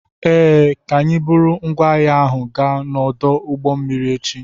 Ee, ka anyi buru ngwaahia ahụ gaa n'ọdụ ụgbọ mmiri echi.